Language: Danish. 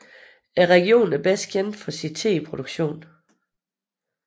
Regionen er bedst kendt for sin teproduktion